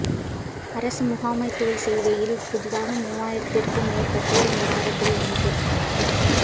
அரச முகாமைத்துவ சேவையில் புதிதாக மூவாயிரத்திற்கும் மேற்பட்டோர் இந்த வருடத்தில் இணைப்பு